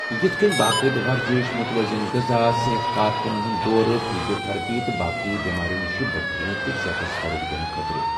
یتھ کٔنۍ باقٲعدٕ ورزِش، متوازن غذا، صحت کارکنن ہنٛد دورٕ، فزیو تھراپی، تہٕ باقی بیماریو نشہِ بچنہٕ تہٕ صحتس فروغ دنہٕ خٲطرٕ ۔